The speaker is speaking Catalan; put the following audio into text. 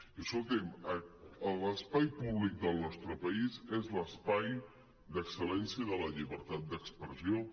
i escolti’m l’espai públic del nostre país és l’espai d’excel·lència de la llibertat d’expressió